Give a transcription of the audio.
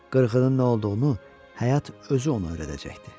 Qırğının nə olduğunu, həyat özü ona öyrədəcəkdi.